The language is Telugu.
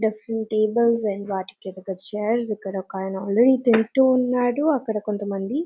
డ్రెస్సింగ్ టేబుల్స్ అండ్ వంటి వెనుక చైర్స్ ఇక్కడ ఒక ఆయన ఆల్రెడీ తింటూ ఉన్నాడు అక్కడ కొంత మంది--